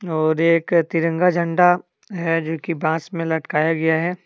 और एक तिरंगा झंडा है जो की बांस में लटकाया गया है।